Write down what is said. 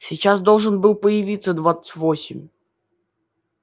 сейчас должен был появиться двадцать восемь